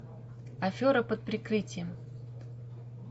афера под прикрытием